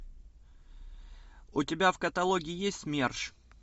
у тебя в каталоге есть мерш